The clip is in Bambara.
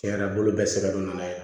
Tiɲɛ yɛrɛ la bolo bɛ sɛgɛn don na